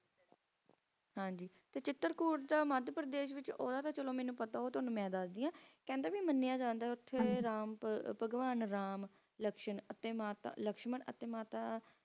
ਹਾਂਜੀ ਚਿਤ੍ਰਪੁਰ ਦਾ ਮੱਧਪ੍ਰਦੇਸ਼ ਦਾ ਉਡਦਾ ਤੇ ਮੈਨੂੰ ਪਤਾ ਮੇਂ ਦਾਸ ਦੀ ਆਂ ਕਹਿੰਦਾ ਉਹ ਮੰਨਿਆ ਜਾਂਦਾ ਹੈ ਕ ਉਹ ਕ ਰਾਮ ਭਗਵਾਨ ਲਕਸ਼ਮਣ ਆਪਣ ਮਾਤਾਜ ਜਾਂਦਾ